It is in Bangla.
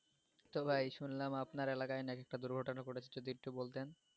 তো ভাই শুনলাম আপনার এলাকায় নাকি একটা দুর্ঘটনা ঘটেছে যদি একটু বলতেন,